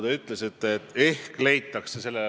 Te ütlesite, et ehk leitakse lahendused.